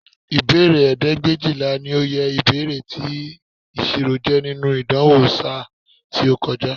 Ìbéèrè ẹgbẹ̀éjìlá ni oye ìbéèrè tí ìṣirò jẹ́ nínú ìdánwò ṣáá tí ó kọjá